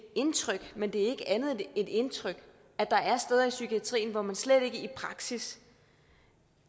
indtryk men det er ikke andet end et indtryk at der er steder i psykiatrien hvor man slet ikke i praksis